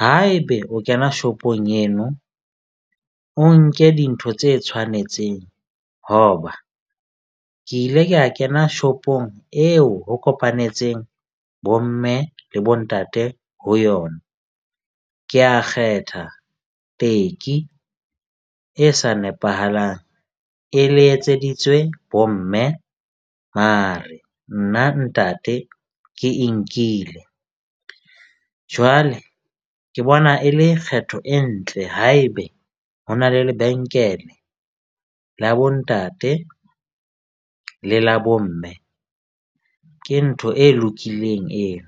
haebe o kena shop-ong eno o nke dintho tse tshwanetseng. Hoba ke ile ka kena shop-ong eo ho kopanetseng bo mme le bo ntate ho yona, ke a kgetha, teki e sa nepahalang e le etseditswe bomme mare nna ntate ke e nkile. Jwale, ke bona e le kgetho e ntle. Haebe ho na le lebenkele la bontate le la bo mme ke ntho e lokileng eo.